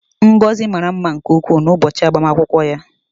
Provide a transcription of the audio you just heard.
Ngozi mara mma nke ukwuu n'ụbọchị agbamakwụkwọ ya